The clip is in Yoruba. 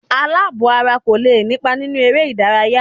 Àlàbò-ara kò lè nípa nínú eré-ìdárayá.